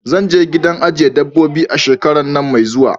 Zanje gidan ajiye dabbobi a shekaran nan mai zuwa